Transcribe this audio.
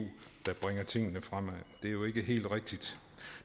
der bringer tingene fremad det er jo ikke helt rigtigt